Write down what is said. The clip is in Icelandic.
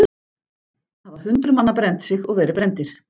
Það hafa hundruð manna brennt sig og verið brenndir.